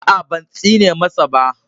A a, ban tsine masa ba.